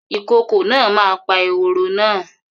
Ìkokò náà ma pa eworo náà